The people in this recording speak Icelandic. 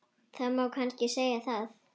Það má kannski segja það.